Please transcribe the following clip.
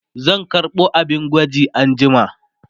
zan karɓo abin gwaji na anjima